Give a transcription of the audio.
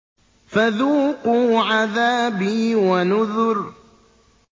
فَذُوقُوا عَذَابِي وَنُذُرِ